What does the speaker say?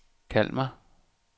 Kalmar